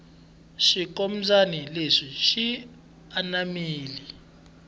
xinkombyani lexi xi anamile